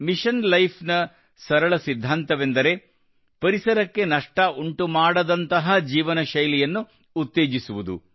mission life ನ ಸರಳ ಸಿದ್ಧಾಂತವೆಂದರೆ ಪರಿಸರಕ್ಕೆ ನಷ್ಟ ಉಂಟುಮಾಡದಂತಹ ಜೀವನ ಶೈಲಿಯನ್ನು ಉತ್ತೇಜಿಸುವುದು